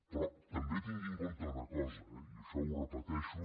però també tingui en compte una cosa eh i això ho repeteixo